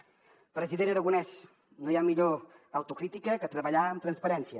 president aragonès no hi ha millor autocrítica que treballar amb transparència